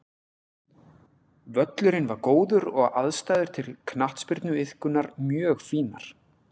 Völlurinn var góður og aðstæður til knattspyrnuiðkunar mjög fínar.